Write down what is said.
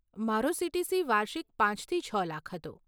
મારો સીટીસી વાર્ષિક પાંચ થી છ લાખ હતો.